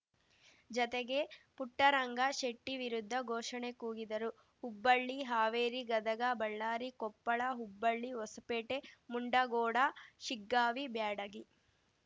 ಜತೆಗೆ ಪುಟ್ಟರಂಗ ಶೆಟ್ಟಿವಿರುದ್ಧ ಘೋಷಣೆ ಕೂಗಿದರು ಹುಬ್ಬಳ್ಳಿ ಹಾವೇರಿ ಗದಗ ಬಳ್ಳಾರಿ ಕೊಪ್ಪಳ ಹುಬ್ಬಳ್ಳಿ ಹೊಸಪೇಟೆ ಮುಂಡಗೋಡ ಶಿಗ್ಗಾವಿ ಬ್ಯಾಡಗಿ